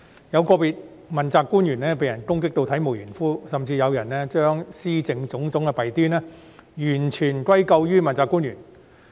有個別問責官員被人攻擊至體無完膚，甚至有人將施政的種種弊端完全歸咎於問責官員。